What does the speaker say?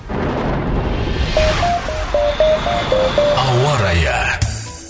ауа райы